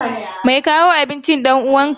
Mai kawo abincin ɗan uwanka ne?